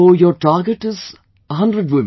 So your target is 100 women